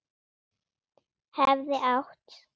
Hefði átt